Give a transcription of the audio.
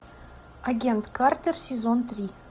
агент картер сезон три